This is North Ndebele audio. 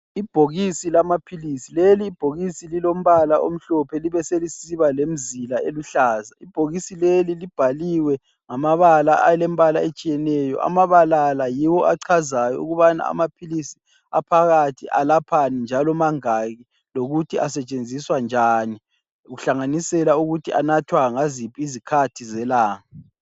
Ibhokisi lamaphilisi. Leli ibhokisi lilombala omhlophe libe selisiba lemizila eluhlaza. Ibhokisi leli libhaliwe ngamabala alembala etshiyeneyo. Amabala la yiwo achazayo ukubana amaphilisi aphakathi alaphani njalo mangaki lokuthi asetshenziswa njani kuhlanganisela lokuthi anathwa ngaziphi izikhathi zelanga.